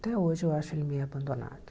Até hoje eu acho ele meio abandonado.